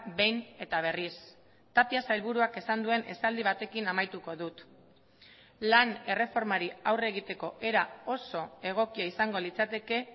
behin eta berriz tapia sailburuak esan duen esaldi batekin amaituko dut lan erreformari aurre egiteko era oso egokia izango litzateke